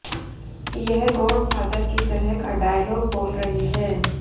यह गॉडफादर की तरह का डॉयलाग बोल रहे हैं